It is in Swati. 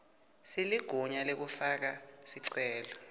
seligunya lekufaka sicelo